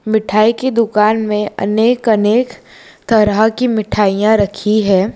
मिठाई की दुकान मे अनेक अनेक तरह की मिठाइयां रखी है।